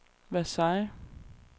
Versailles